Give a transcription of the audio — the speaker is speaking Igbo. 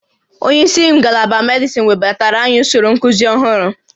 Onye isi ngalaba medịsịn webatara anyị usoro nkuzi ọhụrụ